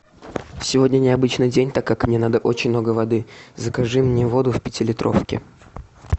сегодня необычный день так как мне надо очень много воды закажи мне воду в пятилитровке